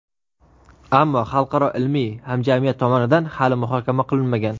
ammo xalqaro ilmiy hamjamiyat tomonidan hali muhokama qilinmagan.